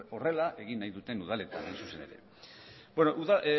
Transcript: horrela egin nahi duten udaletan hain zuzen ere